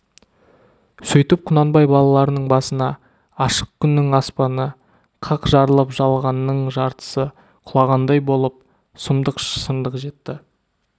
сөйтіп құнанбай балаларының басына ашық күннің аспаны қақ жарылып жалғанның жартысы құлағандай болып сұмдық шындық жетті